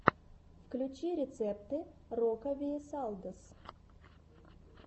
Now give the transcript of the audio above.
включи рецепты рокавиэсалдос